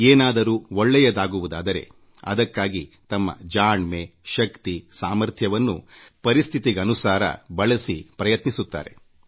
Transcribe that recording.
ಏನಾದ್ರೂ ಒಳ್ಳೇದಾಗುವುದಾದರೆ ಅದಕ್ಕಾಗಿ ತಮ್ಮ ಜಾಣ್ಮೆ ಶಕ್ತಿ ಸಾಮರ್ಥ್ಯವನ್ನು ಪರಿಸ್ಥಿತಿಗನುಸಾರ ಬಳಸಿ ಪ್ರಯತ್ನಿಸುತ್ತಾರೆ